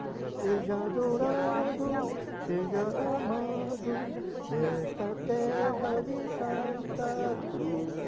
Seja adorado, seja amado nesta terra de Santa Cruz.